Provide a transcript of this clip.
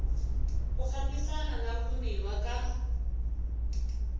ku fambisana na vumbiwa ka